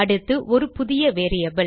அடுத்து ஒரு புதியvariable